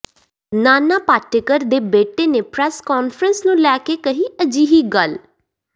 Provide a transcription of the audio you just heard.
ਨਾਨਾ ਪਾਟੇਕਰ ਦੇ ਬੇਟੇ ਨੇ ਪ੍ਰੈੱਸ ਕਾਨਫਰੰਸ ਨੂੰ ਲੈ ਕੇ ਕਹੀ ਅਜਿਹੀ ਗੱਲ